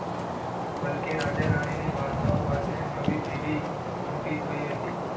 બાકી રાજા રાણીની વાર્તાઓ વાંચીને નવી પેઢી મોટી થઈ હતી.